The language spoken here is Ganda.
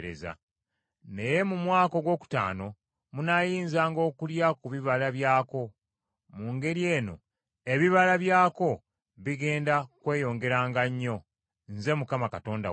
Naye mu mwaka ogwokutaano munaayinzanga okulya ku bibala byako. Mu ngeri eno ebibala byako bigenda kweyongeranga nnyo. Nze Mukama Katonda wammwe.